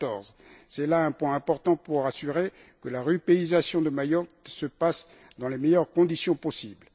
2014. C'est là un point important pour assurer que la rupéisation de Mayotte se passe dans les meilleures conditions possibles.